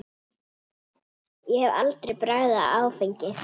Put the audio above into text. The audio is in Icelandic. Ég hef aldrei bragðað áfengi.